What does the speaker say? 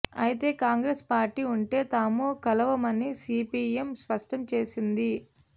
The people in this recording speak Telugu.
అయితే కాంగ్రెస్ పార్టీ ఉంటే తాము కలవమని సీపీఎం స్పష్టం చేసింది